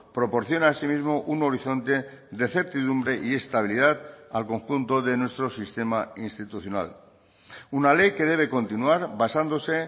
proporciona asimismo un horizonte de certidumbre y estabilidad al conjunto de nuestro sistema institucional una ley que debe continuar basándose